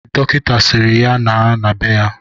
Dọkịta sịrị ya naa na bee ya.